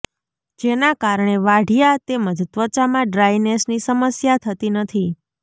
જેના કારણે વાઢિયા તેમજ ત્વચામાં ડ્રાયનેસની સમસ્યા થતી નથી